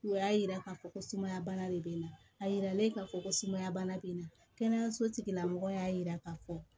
O y'a yira k'a fɔ ko sumaya bana de bɛ n na a yira la e ka fɔ ko sumaya bana bɛ n na kɛnɛyaso tigila mɔgɔ y'a yira k'a fɔ